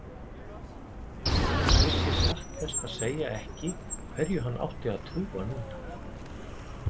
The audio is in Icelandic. Vissi satt best að segja ekki hverju hann átti að trúa núna.